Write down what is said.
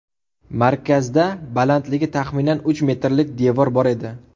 Markazda balandligi taxminan uch metrlik devor bor edi.